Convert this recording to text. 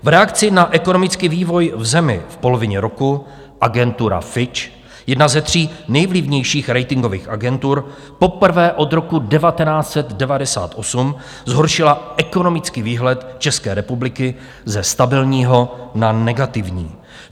V reakci na ekonomický vývoj v zemi v polovině roku agentura Fitch, jedna ze tří nejvlivnějších ratingových agentur, poprvé od roku 1998 zhoršila ekonomický výhled České republiky ze stabilního na negativní.